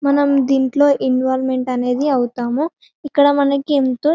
మనం దింట్లో ఇంవోల్వ్మెంట్ అనేది అవుతాము ఇక్కడ మనకి ఏంటో --